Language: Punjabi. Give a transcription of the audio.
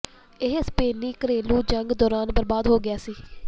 ਇਹ ਸਪੇਨੀ ਘਰੇਲੂ ਜੰਗ ਦੌਰਾਨ ਬਰਬਾਦ ਹੋ ਗਿਆ ਸੀ